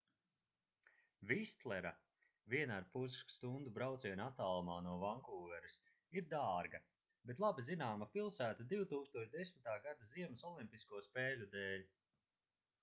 vistlera 1,5 h brauciena attālumā no vankūveras ir dārga bet labi zināma pilsēta 2010. gada ziemas olimpisko spēļu dēļ